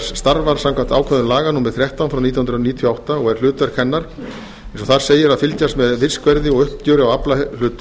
starfar samkvæmt ákvæðum laga númer þrettán nítján hundruð níutíu og átta og er hlutverk hennar eins og þar segir að fylgjast með fiskverði og uppgjöri á aflahlut